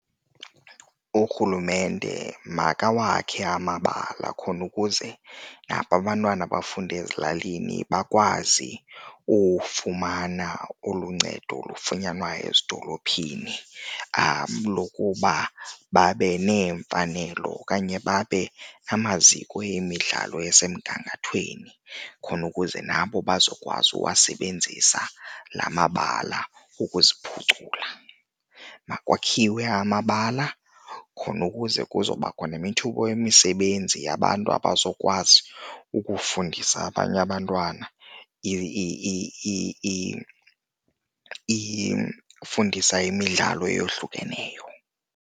Urhulumente makawakhe amabala khona ukuze nabo abantwana abafunda ezilalini bakwazi ufumana olu ncedo lufunyanwa ezidolophini lokuba babe neemfanelo okanye babe namaziko yemidlalo esemgangathweni khona ukuze nabo bazokwazi ukuwasebenzisa la mabala ukuziphucula. Makwakhiwe amabala khona ukuze kuzobakho nemithumba yemisebenzi yabantu abazokwazi ukufundisa abanye abantwana ufundisa imidlalo eyohlukeneyo.